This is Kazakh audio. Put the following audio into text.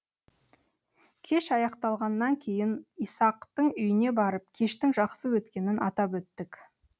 кеш аяқталғаннан кейін исақтың үйіне барып кештің жақсы өткенін атап өттік